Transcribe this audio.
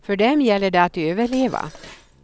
För dem gäller det att överleva.